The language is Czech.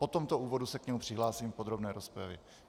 Po tomto úvodu se k němu přihlásím v podrobné rozpravě.